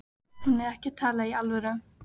Hún er ekki að tala í alvöru.